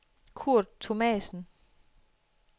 Kurt Thomassen